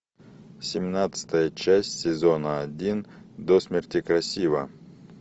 семнадцатая часть сезона один до смерти красива